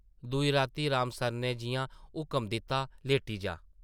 दूई राती राम सरनै जिʼयां हुकम दित्ता, ‘‘लेटी जा ।’’